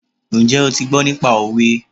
Njẹ́ o ti gbọ́ nípa òwe?